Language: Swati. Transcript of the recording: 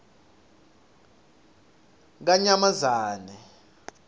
yakanyamazane